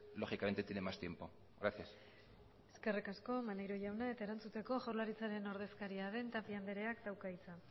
lógicamente tiene más tiempo gracias eskerrik asko maneiro jauna eta erantzuteko jaurlaritzaren ordezkaria den tapia andreak dauka hitza